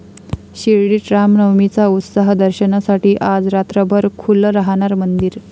शिर्डीत रामनवमीचा उत्साह, दर्शनासाठी आज रात्रभर खुलं राहणार मंदिर